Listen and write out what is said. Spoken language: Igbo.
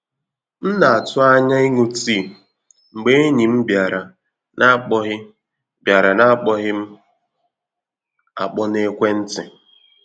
M na-atụ anya ịṅụ tii, mgbe enyi m bịara na akpoghị bịara na akpoghị m akpọ na ekwentị